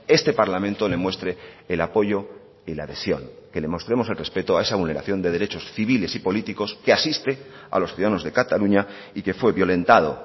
este parlamento le muestre el apoyo y la adhesión que le mostremos el respeto a esa vulneración de derechos civiles y políticos que asiste a los ciudadanos de cataluña y que fue violentado